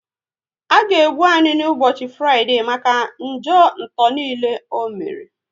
A ga egbu Anini ụbọchị Fraịdee maka njọ nto niile o mere